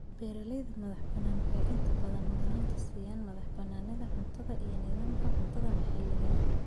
Beeralayda madax-bannaani waxay inta badan mudnaanta siiyaan madaxbannaanida cuntada iyo nidaamka cuntada maxalliga ah.